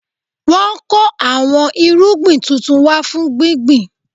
Wọn kò àwọn irúgbìn tuntun wá fún gbíngbin